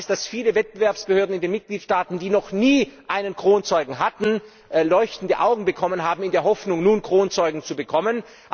Ich weiß, dass viele Wettbewerbsbehörden in den Mitgliedstaaten, die noch nie einen Kronzeugen hatten, leuchtende Augen bekommen haben in der Hoffnung, nun Kronzeugen zu bekommen.